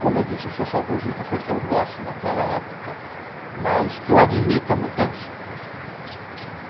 Como eu disse, eu sou saudosista porque eu gosto daquela época, mas eu admito a mudança.